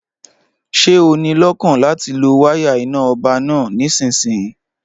Ṣé o níi lọ́kàn láti lo wáyà iná ọba náà nísinsìnyí?